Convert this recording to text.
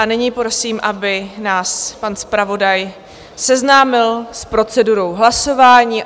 A nyní prosím, aby nás pan zpravodaj seznámil s procedurou hlasování.